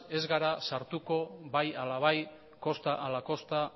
ez gara sartuko bai ala bai kosta ala kosta